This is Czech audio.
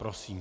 Prosím.